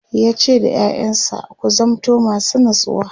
yace da ƴaƴansa "ku zamanto masu natsuwa!"